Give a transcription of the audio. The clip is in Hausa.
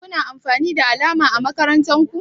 Kuna amfani da alama ã makarantan ku?